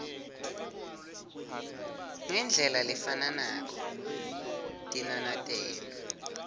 ngendlela lefanako tinanatelo